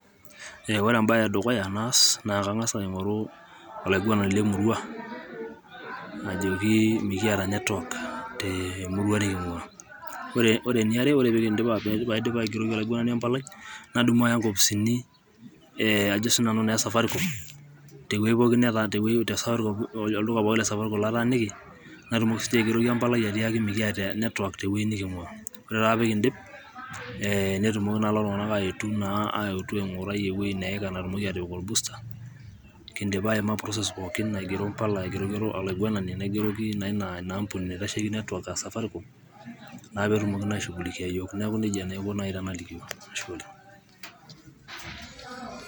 Ore embae edukuya naas na kangas aingoru olainguanani lemurua ,ajooki mikiata network temurua nikingua ore eniare paidip aigeroki oloinguanani empalai nadumu aya inkofisini ee najo na sianu e safaricom tewei teweuji tolduka pooki lesaaricom nataaniki natumoki sininche aingeroki empalai ajo naaji mikiata network teweuji nikingua ore taa pekidip ee netumoki naa lelo tungana aetu naa eatu naa aingura eweuji neika natumoki atipik olbusta kindipa aima process[sc] pooki aingero mpala aindipa aingeroki olainguanani nangeroki ina ambuni naitasheki network aa safaricom naa petumoki naa aishughulikia iyiok niaku nejia taa naji aiko tenalikio, ashe oleng,